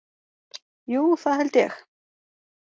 Jú það held ég.